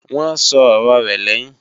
Wọ́n sọ ọ̀rọ rẹ̀ lẹ́yìn